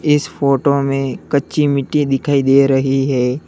इस फोटो में कच्ची मिट्टी दिखाई दे रही है।